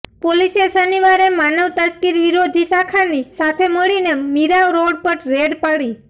પોલીસે શનિવારે માનવ તસ્કરી વિરોધી શાખાની સાથે મળીને મીરા રોડ પર રેડ પાડી